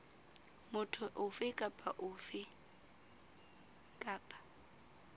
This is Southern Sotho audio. motho ofe kapa ofe kapa